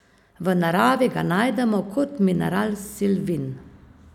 V naravi ga najdemo kot mineral silvin.